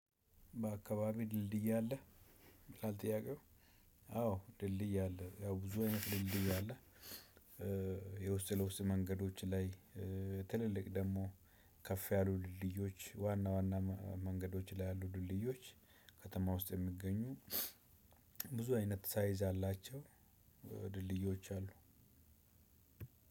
በአከባቢህ ድልድይ አለ? ይላል ጥያቀው አዎ ድልድይ አለ ብዙ አይነት ድልድይ አለ የውስ ለውሰጥ መንገዶች ላይ ትልልቅ ደሞ ከፍ ያሉ ድልድዬች ዋና ዋና መንገዶች ላይ አሉ ድልድዬች አሉ ከተማ ውስጥ የሚገኙ ብዙ አይነት ሳይዝ ያላቸው ድልድዮች አሉ።